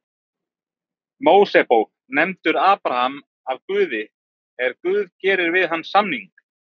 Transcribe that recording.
Mósebók nefndur Abraham af Guði er Guð gerir við hann samning: